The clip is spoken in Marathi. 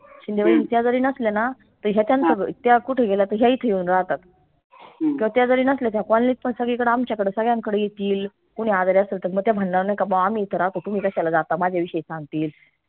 शिंदे वहिनी त्या जरी नसल्या ना त्या कुठई गेल्या त ह्या इथे येऊन राहतात करत्या जरी नसल्या त्या colony त पन सगळीकड आमच्याकड सगळ्यानकड येतील कोणी आजारी असल त मग त्या म्हणनार नाई का बा आम्ही इथं राहतो तुम्ही कश्याला राहता माझ्या विषयी सांगतील